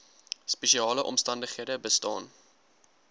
spesiale omstandighede bestaan